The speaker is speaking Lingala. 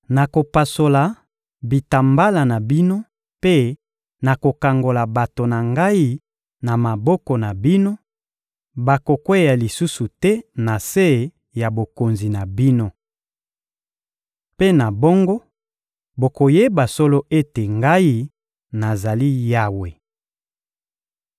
Nakopasola bitambala na bino mpe nakokangola bato na Ngai na maboko na bino; bakokweya lisusu te na se ya bokonzi na bino! Mpe na bongo bokoyeba solo ete Ngai, nazali Yawe.